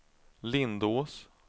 Lindås